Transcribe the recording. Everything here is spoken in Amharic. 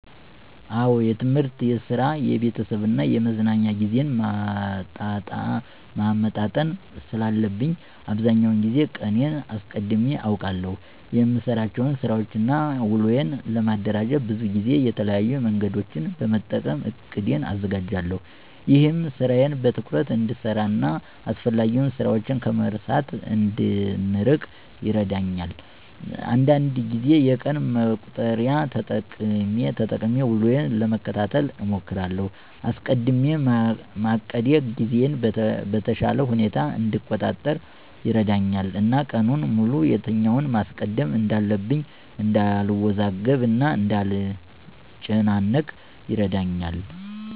አዎ የትምህርት፣ የስራ፣ የቤተሰብ እና የመዝናኛ ጊዜዬን ማመጣጠን ስላለብኝ አብዛኛውን ጊዜ ቀኔን አስቀድሜ አቅዳለሁ። የምሰራቸውን ስራወችን እና ውሎዬን ለማደራጀት ብዙ ጊዜ የተለያዩ መንገዶችን በመጠቀም እቅዴን አዘጋጃለሁ። ይህም ስራዬን በትኩረት እንድሰራ እና አስፈላጊ ስራችን ከመርሳት እንድንርቅ ይረዳኛል። አንዳንድ ጊዜ የቀን መቁጠሪያን ተጠቅሜ ውሎዬን ለመከታተል እሞክራለሁ። አስቀድሜ ማቀዴ ጊዜዬን በተሻለ ሁኔታ እንድቆጣጠር ይረዳኛል እና ቀኑን ሙሉ የትኛውን ማስቀደም እንዳለብኝ እንዳልወዛገብ እና እንዳልጨናነቅ ይረዳኛል።